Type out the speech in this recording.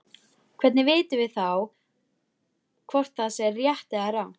Hvernig vitum við þá hvort það sé rétt eða rangt?